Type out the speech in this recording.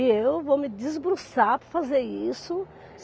E eu vou me desbruçar para fazer isso.